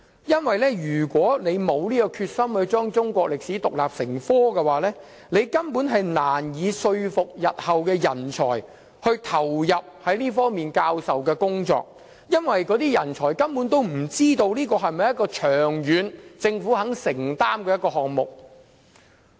如果沒有決心將中史獨立成科，根本難以說服日後的人才投入這方面的教學工作，因為他們不知道這是否政府願意長遠承擔的項目。